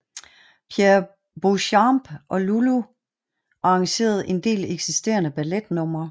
Pierre Beauchamp og Lully arrangerede en del eksisterende balletnumre